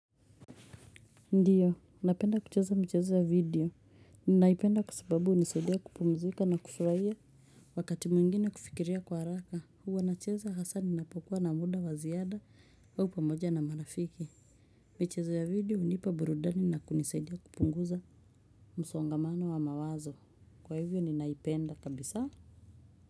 Ndiyo, napenda kucheza michezo ya video. Ninaipenda kwa sababu hunisaidia kupumzika na kufurahia. Wakati mwingine kufikiria kwa haraka, huwa nacheza hasaa ninapokuwa na muda wa ziada au pamoja na marafiki. Michezo ya video hunipa burudani na kunisaidia kupunguza msongamano wa mawazo. Kwa hivyo ninaipenda kabisa.